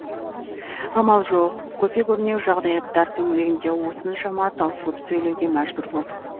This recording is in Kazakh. амал жоқ көпе көрнеу жағдаяттар төңірегінде осыншама таусылып сөйлеуге мәжбүр болдық